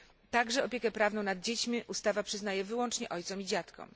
Także opiekę prawną nad dziećmi ustawa przyznaje wyłącznie ojcom i dziadkom.